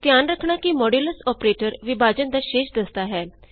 ਧਿਆਨ ਰਖਣਾ ਕਿ ਮੋਡਯੂਲਸ ਅੋਪਰੇਟਰ ਵਿਭਾਜਨ ਦਾ ਸ਼ੇਸ਼ ਦੱਸਦਾ ਹੈ